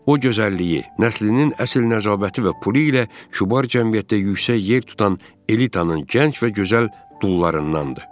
O gözəlliyi nəslinin əsl nəcabəti və pulu ilə kübar cəmiyyətdə yüksək yer tutan elitanın gənc və gözəl dullarındandır.